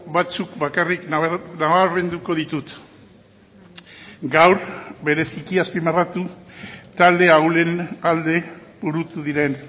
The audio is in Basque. batzuk bakarrik nabarmenduko ditut gaur bereziki azpimarratu talde ahulen alde burutu diren